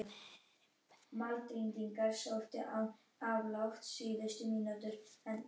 Þá drekka þeir hluta af ljósinu í sig en endurkasta hinu.